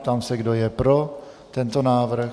Ptám se, kdo je pro tento návrh.